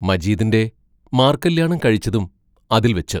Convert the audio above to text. മജീദിന്റെ മാർക്കല്യാണം കഴിച്ചതും അതിൽ വെച്ച്.